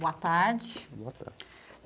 Boa tarde. Boa tarde.